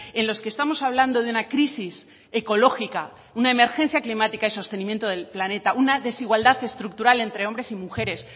en los que estamos hablando de una crisis ecológica una emergencia climática y sostenimiento del planeta una desigualdad estructural entre hombres y mujeres